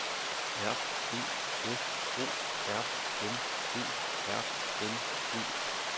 R E F O R M E R N E